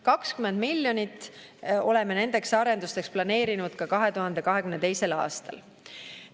20 miljonit oleme nendeks arendusteks planeerinud ka 2022. aastal.